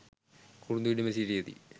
කුරුඳු ඉඩමේ සිටියදී